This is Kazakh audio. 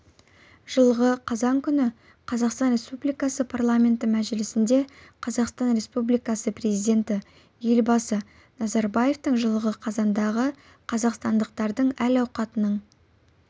жылғы қазан күні қазақстан республикасы парламенті мәжілісінде қазақстан республикасы президенті елбасы назарбаевтың жылғы қазандағы қазақстандықтардың әл-ауқатының